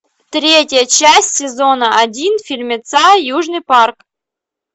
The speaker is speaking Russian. третья часть сезона один фильмеца южный парк